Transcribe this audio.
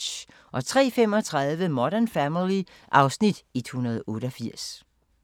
03:35: Modern Family (Afs. 188)